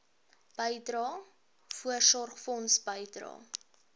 bydrae voorsorgfonds bydrae